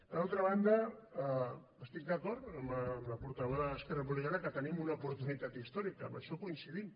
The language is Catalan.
per altra banda estic d’acord amb la portaveu d’esquerra republicana que tenim una oportunitat històrica en això coincidim